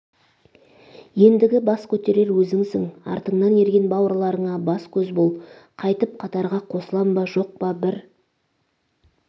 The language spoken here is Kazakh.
ендігі бас көтерер өзіңсің артыңнан ерген бауырларыңа бас-көз бол қайтып қатарға қосылам ба жоқ па бір